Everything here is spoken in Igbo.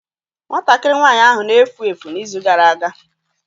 Nwatakịrị nwanyị ahụ na-efu efu n'izu gara aga.